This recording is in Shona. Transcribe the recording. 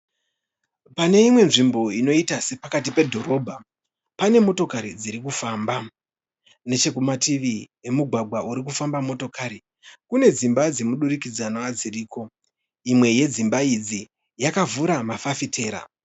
Pane imwe nzvimbo inoita sepakati pedhorobha pane motokari dzirikufamba. Nechekumativi emugwagwa urikufamba motokari kune dzimba dzemudurikidzanwa dziriko. Imwe yedzimba idzi yakavhura mafafitera.